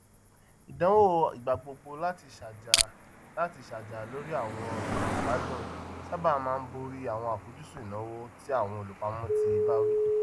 ìdánwò ìgbàgbogbo láti ṣàjà láti ṣàjà lórí àwọn nkan ìgbádùn sábà máa ń borí àwọn àfojúsùn ináwó ti àwọn olupamọ tí ìbáwí